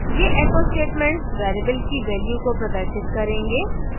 ये echo statements variables की value को प्रदर्शित करेंगे